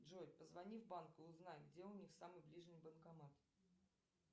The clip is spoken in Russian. джой позвони в банк и узнай где у них самый ближний банкомат